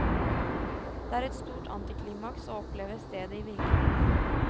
Det er et stort antiklimaks å oppleve stedet i virkeligheten.